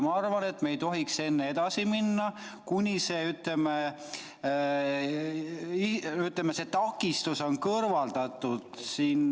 Ma arvan, et me ei tohiks edasi minna enne, kui see takistus on kõrvaldatud.